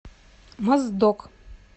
моздок